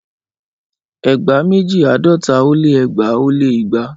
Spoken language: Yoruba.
Ẹgba meji àádọ́ta ó lé ẹgbaa ó lé igba.